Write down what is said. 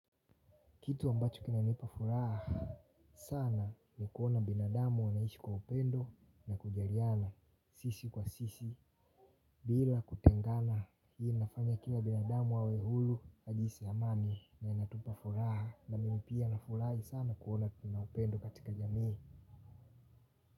Kitu ambacho kinanipa furaha sana ni kuona binadamu wanaishi kwa upendo na kujaliana sisi kwa sisi bila kutengana hii inafanya kila binadamu wawe hulu na jinsi amani inatupa furaha na mimi pia nafurahi sana kuona kuna upendo katika jamii.